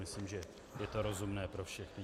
Myslím, že je to rozumné pro všechny.